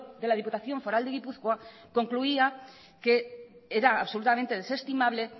de la diputación foral de gipuzkoa concluía que era absolutamente desestimable